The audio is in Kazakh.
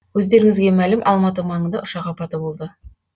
өздеріңізге мәлім алматы маңында ұшақ апаты болды